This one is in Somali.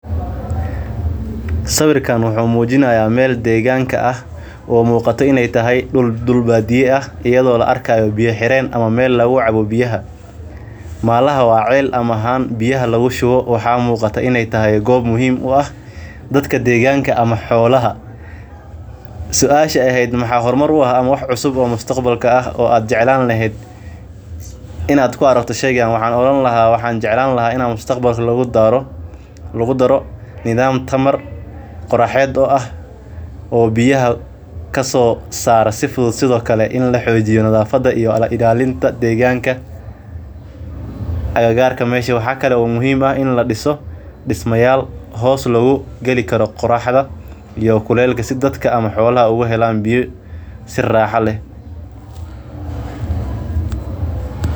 Sawirka wuxuu mujinaaya meel deeganka ah oo muqata inaay tahay meel ciil xireen ah oo laga yaaba in lagu shubo biya waxaan jeclaan lahaa in mustaqbalka lagu daro nidaam qoraxeed oo ah in lagu daro tamar amwaaxaa fican in lagu daro disma aay dadka hoos galin karaan iyo xolaha.